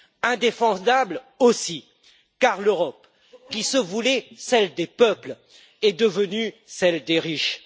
Indéfendable aussi car l'Europe, qui se voulait celle des peuples, est devenue celle des riches.